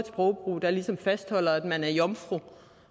sprogbrug der ligesom fastholder at man er jomfru